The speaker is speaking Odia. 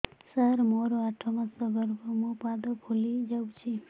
ସାର ମୋର ଆଠ ମାସ ଗର୍ଭ ମୋ ପାଦ ଫୁଲିଯାଉଛି